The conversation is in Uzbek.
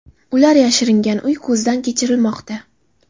Ular yashiringan uy ko‘zdan kechirilmoqda.